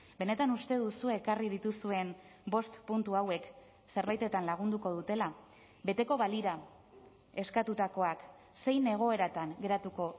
benetan uste duzue ekarri dituzuen bost puntu hauek zerbaitetan lagunduko dutela beteko balira eskatutakoak zein egoeratan geratuko